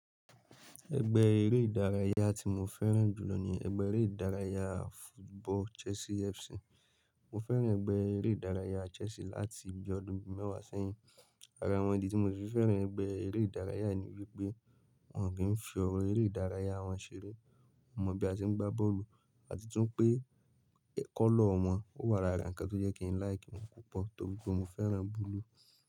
Ẹgbẹ́ eré ìdárayá tí mo fẹ́ràn jù lọ ní ẹgbẹ́ eré ìdárayá football Chelsea FC. Mo fẹ́ràn ẹgbẹ́ eré ìdárayá Chelsea láti bí ọdún bi mẹ́wàá sẹ́yìn. Ara wọn ìdí tí mo si fi fẹ́ràn ẹgbẹ́ eré ìdárayá ní wípé Wọn kì n fi ọrọ eré ìdárayá wọn ṣeré, wọ́n mọ bí a tí ń gbá bọ́ọ̀lù àti tún pé, colour wọn ó wà lára ǹkan tó jẹ́ kí n like wọn púpọ̀ torí pé mo fẹ́ràn blue.